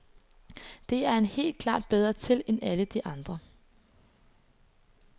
Det er han helt klart bedre til end alle de andre.